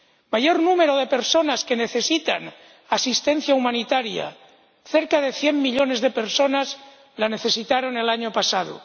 Mayor número de personas que necesitan asistencia humanitaria cerca de cien millones de personas la necesitaron el año pasado.